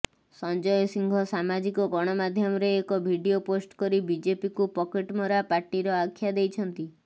ସଞ୍ଜୟ ସିଂହ ସାମାଜିକ ଗଣମାଧ୍ୟମରେ ଏକ ଭିଡିଓ ପୋଷ୍ଟ କରି ବିଜେପିକୁ ପକେଟମରା ପାର୍ଟିର ଆଖ୍ୟା ଦେଇଛନ୍ତି